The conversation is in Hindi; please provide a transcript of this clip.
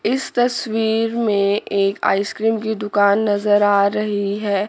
इस तस्वीर में एक आइस क्रीम की दुकान नजर आ रही है।